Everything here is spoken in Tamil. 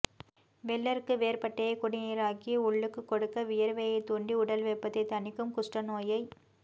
வெள்ளெருக்கு வேர்ப்பட்டையை குடிநீராக்கிக் உள்ளுக்குக் கொடுக்க வியர்வையைத் தூண்டி உடல் வெப்பத்தைத் தணிக்கும் குஷ்டநோயைக்